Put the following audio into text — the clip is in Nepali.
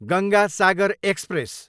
गङ्गा सागर एक्सप्रेस